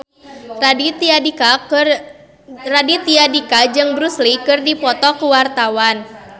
Raditya Dika jeung Bruce Lee keur dipoto ku wartawan